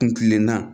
Kun kilenna